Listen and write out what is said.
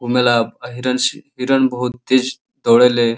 घुमेला अ हिरन हिरन बहोत तेज दौड़े ले।